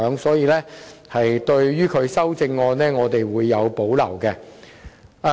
所以，對於邵議員的修正案，我們是有所保留的。